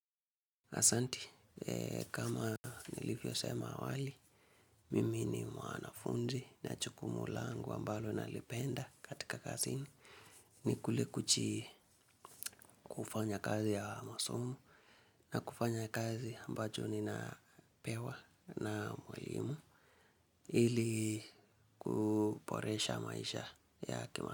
Asanti, kama nilivyosema awali, mimi ni mwanafunzi na jukumu langu ambalo nalipenda katika kazi ni. Ni kule kufanya kazi ya masomo na kufanya kazi ambacho ninapewa na mwalimu ili kuboresha maisha ya hekima.